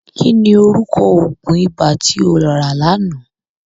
Kí ni orúkọ òògùn ibà tó rà lánàá.?